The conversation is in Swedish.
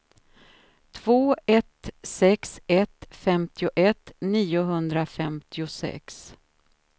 två ett sex ett femtioett niohundrafemtiosex